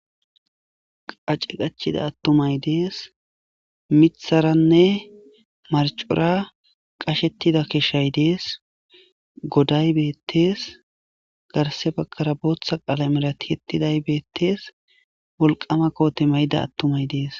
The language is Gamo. qace qachida attumay dees mitharanne marcora qashettida keshshay dees goday beettees garse bagkara booththa qalamelatihettiday beettees wolqama koote mayida attumay dees